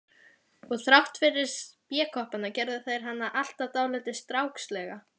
Og þrátt fyrir spékoppana gerðu þær hana alltaf dáldið strákslega.